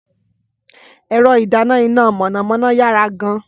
Ẹ̀rọ ìdáná iná mọ̀nàmọ́ná yára gan-an.